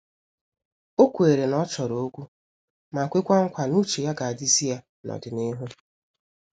O kweere na ọ chọrọ okwu ma kwekwa nkwa n'uche ya ga-adizi ya na n'ọdịnihu.